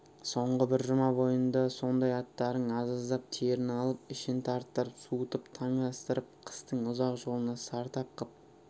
соңғы бір жұма бойында сондай аттардың аз-аздап терін алып ішін тарттырып суытып таңастырып қыстың ұзақ жолына сартап қып